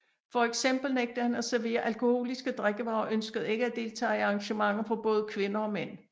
Fx nægtede han at servere alkoholiske drikkevarer og ønskede ikke at deltage i arrangementer for både kvinder og mænd